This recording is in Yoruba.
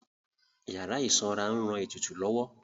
Ìyára ìsanra ń ran ètùtù lọ́wọ́